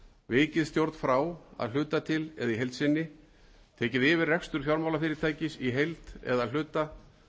vikið stjórn frá að hluta til eða í heild sinni tekið yfir rekstur fjármálafyrirtækis í heild eða að hluta